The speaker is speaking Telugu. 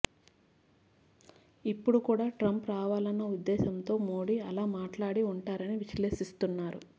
ఇప్పుడు కూడా ట్రంప్ రావాలన్న ఉద్దేశంతో మోడీ అలా మాట్లాడి ఉంటారని విశ్లేషిస్తున్నారు